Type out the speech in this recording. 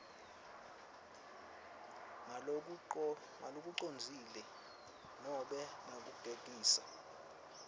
ngalokucondzile nobe ngekugegisa